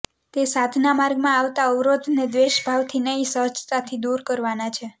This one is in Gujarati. તે સાધના માર્ગમાં આવતા અવરોધને દ્વેષ ભાવથી નહીં સહજતાથી દૂર કરવાના છે